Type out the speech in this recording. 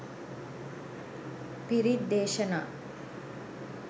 පිරිත් දේශනා